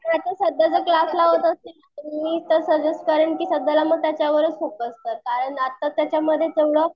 आता सध्या जर क्लास लावत मी तर सजेस्ट करेन की सध्या मग त्याच्यावरच फोकस कर कारण आता त्याच्यामध्ये तेवढं